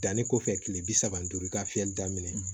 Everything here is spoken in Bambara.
Danni kɔfɛ kile bi saba duuru i ka fiyɛli daminɛ